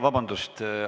Vabandust!